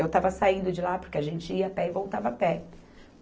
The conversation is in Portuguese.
Eu estava saindo de lá porque a gente ia a pé e voltava a pé.